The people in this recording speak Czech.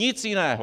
Nic jiného.